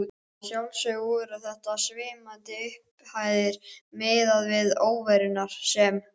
Að sjálfsögðu voru þetta svimandi upphæðir miðað við óveruna sem